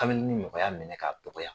Kameleni nɔgɔya minɛ ka dɔgɔya.